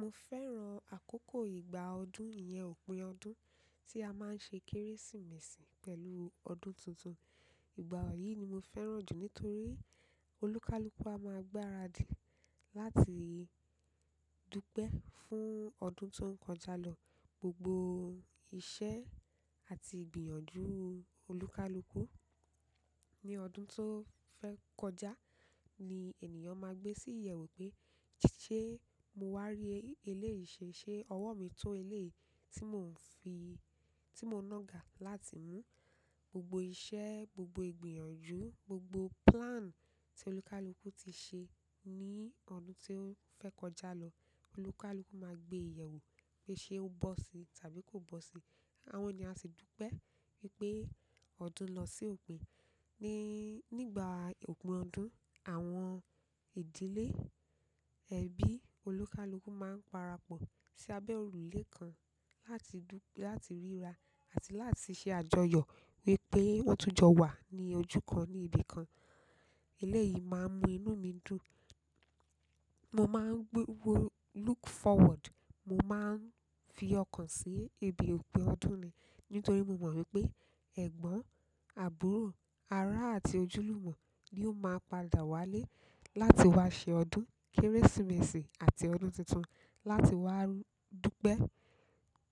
Mo fẹ́ràn àkókò ìgbà ọdún, ìyẹn òpin ọdún tí a máa ń ṣe Kérésìmesì pẹ̀lú ọdún tuntun. Ìgbà yìí ni mo fẹ́ràn jù nítorí onikaluku a máa gbáradì láti dúpẹ́ fún ọdún tó ń kọjá lọ. Gbogbo iṣẹ́ àti ìgbìyànjú olúkúlùkù ní ọdún tó fẹ́ kọjá ni ènìyàn máa gbé sí ìyẹ̀wù pé ṣé mo wá rí eléyìí ṣe, ṣe ọwọ́ mi tó eléyìí tí mò ń fi, ti mo ná ga láti mú? Gbogbo iṣẹ́, gbogbo ìgbìyànjú, gbogbo plan tí onikaluku ti ṣe ní ọdún tó fẹ́ kọjá lọ, onikaluku máa gbé yewo pé ṣé ó bọ́ si tàbí kò bọ́ si. Àwọn eyan a sì dúpẹ́ wípé ọdún lọ sí òpin. Ní ìgbà òpin ọdún, àwọn ìdílé, ẹbí, onikaluku máa ń parapọ̀ sí abẹ́ òrùlé kan láti du, lati ríra àti láti ṣe àjọyọ̀ wípé won tún jọ wà ní ojú kan ní ibi kan. Eléyìí máa ń mú inú mi dùn. Mo máa ń look forward, mo máa ń fi ọkàn sí ibi òpin ọdún ni nítorí mo mọ̀ wípé ẹ̀gbọ́n, àbúrò, ará àti ojúlùmọ̀ ni ó máa padà wálé láti wá ṣe ọdún Kérésìmesì àti ọdún tuntun láti wá dúpẹ́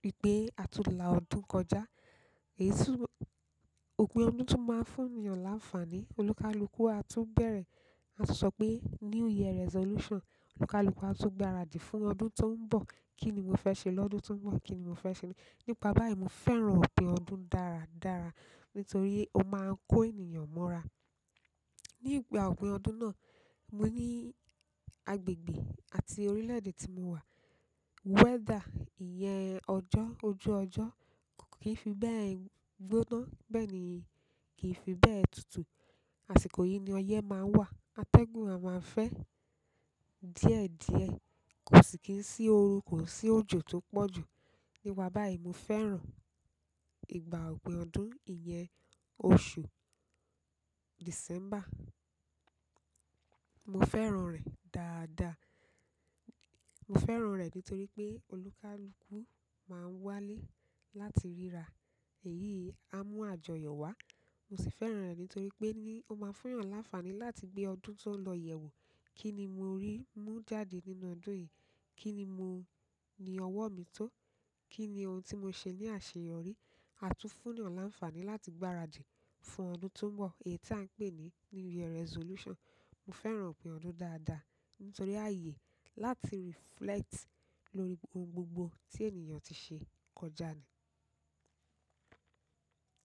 wípé a tún la ọdún kọjá. Èyí sinu- òpin ọdún tún máa ń fún ènìyàn láfààní. Onikaluku a tún bẹ̀rẹ̀, a tun sọ pé New Year resolution. Olúkúlùkù a tún gbáradì fún ọdún tó ń bọ̀. Kí ni mo fẹ́ ṣe lọ́dún tó ń bọ̀? Kí ni mo fẹ́ ṣe nípa báyìí? Mo fẹ́ràn òpin ọdún dára dára nítorí ó máa ń kó ènìyàn mọ́ra. Ní ìgbà òpin ọdún náà, mo ní agbègbè àti orílẹ̀-èdè tí mo wà, weather, ìyẹn ọjọ́, ojú ọjọ́ kì fi bẹ́ẹ̀ gbóná, bẹ́ẹ̀ ni kì fi bẹ́ẹ̀ tutù. Àsìkò yìí ni ọyẹ́ máa ń wà. Atẹ́gùn a máa fẹ́ díẹ̀ díẹ̀. Kò sì kín sí oru, kò sí òjò tó pọ̀jù. Nípa báyìí, mo fẹ́ràn ìgbà òpin ọdún, ìyẹn oṣù December. Mo fẹ́ràn rẹ̀ dáadaa. Mo fẹ́ràn rẹ̀ nítorí pé onikaluku máa ń wálé láti ríra. Èyí a mú àjọyọ̀ wá. Mo sì fẹ́ràn rẹ̀ nítorí pé ó máa ń fún ènìyàn láfààní láti gbé ọdún tó ń lọ yẹ̀wò. Kí ni mo rí mú jáde nínú ọdún yìí? Kí ni ọwọ́ mi tó? Kí ni ohun tí mo ṣe ní àṣeyọrí? A tún fún yàn láfààní láti gbáradì fún ọdún tó ń bọ̀, èyí tí à ń pè ní New Year resolution. Mo fẹ́ràn òpin ọdún dáadáa nítorí ààyè láti reflect lórí oun gbogbo tí ènìyàn ti ṣe kọjá ni.